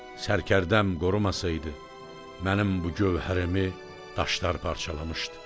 Sərkərdəm qorumasaydı, mənim bu gövhərimi daşlar parçalamışdı.